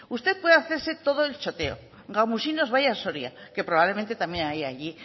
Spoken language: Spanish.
usted puede hacerse todo el choteo gamusinos vaya a soria que probablemente también haya allí